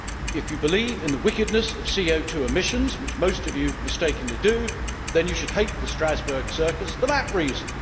If you believe in the wickedness of CO emissions, which most of you mistakenly do, then you should hate the Strasbourg circus for that reason.